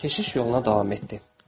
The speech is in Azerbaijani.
Keşiş yoluna davam etdi.